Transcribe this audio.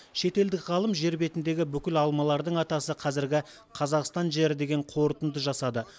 шетелдік ғалым жер бетіндегі бүкіл алмалардың атасы қазіргі қазақстан жері деген қорытынды жасады